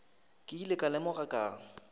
ke ile ka lemoga ka